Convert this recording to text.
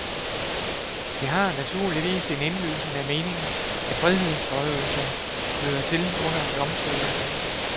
Det har naturligvis sin indlysende mening, at frihedsberøvelse hører til under domstolene.